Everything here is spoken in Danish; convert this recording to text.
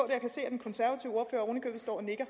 og nikker